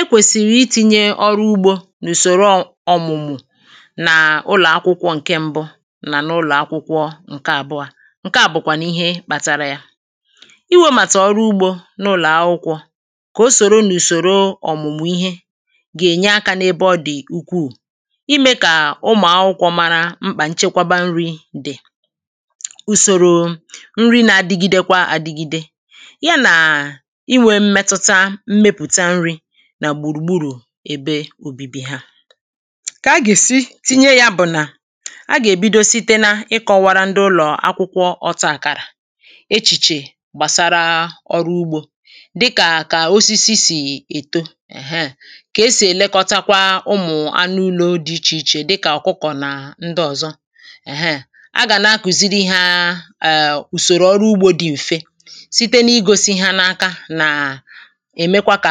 ẹ kwèsìrì ị tinye ọrụ ugbō n’ùsòrò ọ ọ̀mụ̀mụ̀ nà ụlọ̀akwụkwọ ǹkẹ mbụ nà n’ulọ̀ akwụkwọ ǹ̇kẹ àbua ǹ̇kẹ a bụ̀kwànụ̀ ihe kpatara yā ị wee màtà ọrụ ugbō n’ụlọ̀ akwụkwọ̄ kà o sòro n’ùsòro ọ̀mụ̀mụ̀ ihe gà ènye akā n’ebe ọ dị ukwù ị mee kà ụmụ̀ akwụkwọ̄ mara mkpà nchẹkwaba nrị̄ dị̀ ùsòrò nrị na-adịgịde kwa adịgịde yā nà inwẹ mmetuta mmepùta nrị nà gbùrù gburù ebe ubibi hā kà agà esi tinye yā bụ̀ nà a gà èbido site nā ịkọwàrà ndị ụlọ̀ akwụkwọ ọtakàrà echị̀chè gbàsara ọrụ ugbō dịkà kà osisi si èto èhe kà esì ẹ̀lẹkọtakwa ụmụ̀ anụ ụlo dị ichè ichè dịkà ọ̀kụkọ̀ nà ndị ọ̀zọ ẹ̀hẹ a gà na-kuziri hā eè ùsòrò ọrụ ugbō dị m̀fe site nà i gosi hā nā aka nà èmekwa kà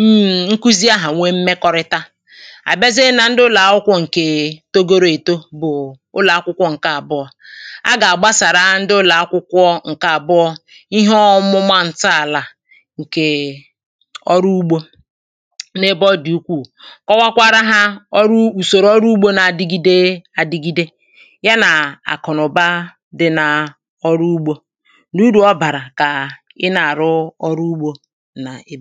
mm. nkuzi ahụ̀ nwẹ mmekorịta à bịazịe nā ndị ụlọ̀ akwụkwọ ṅ̀ke togo ru èto bụ̀ ụlọ̀ akwụ̄kwọ ṅ̀ke àbụọ a gà àgbasàra ndị ụlọ̀ akwụkwọ ǹ̇kẹ àbụọ ihe ọmụma ǹtọàlà a ǹ̇kẹ̀e ọrụ ugbō nā ebe ọ dị̀ ukwù kọwakwarā hā ọrụ ùsòrò orụ ugbō nā adigide adigide yā nà àkụ̀nụ̀ba dị nā ọrụ ugbō nà urù ọ bàrà kàa ị nà àrụ ọrụ ugbō nà ibì